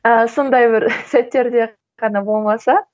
ы сондай бір сәттерде ғана болмаса